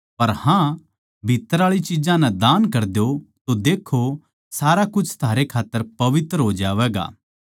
पर हाँ भीत्त्तर आळी चिज्जां नै दान कर द्यो तो लखाओ सारा कुछ थारै खात्तर पवित्र हो जावैगा